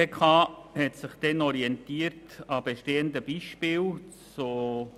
Die GPK hat sich damals an bestehenden Beispielen orientiert.